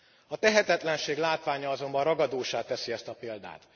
A tehetetlenség látványa azonban ragadóssá teszi ezt a példát.